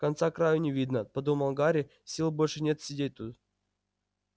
конца-краю не видно подумал гарри сил больше нет сидеть тут